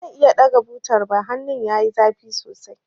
Ba zan iya ɗaga butar ba, hannun yayi zafi sosai.